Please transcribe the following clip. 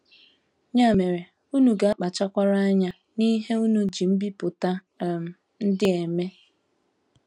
Ya mere unu ga - akpachakwara anya n’ihe unu ji mbipụta um ndị a eme. ”